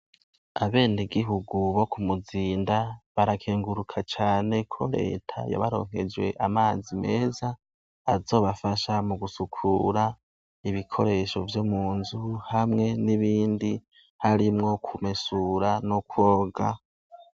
abenegihugu bo kumuzinda barakenguruka cane ko leta yabaronkeje amazi meza azobafasha mu gusukura ibikoresho vyo munzu hamwe n'ibindi harimwo kumesura no koga